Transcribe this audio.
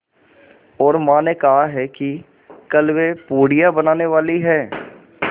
और माँ ने कहा है कि कल वे पूड़ियाँ बनाने वाली हैं